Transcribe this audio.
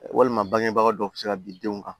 Walima bangebaga dɔ bɛ se ka bin denw kan